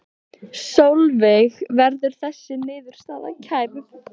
Sólveig: Verður þessi niðurstaða kærð?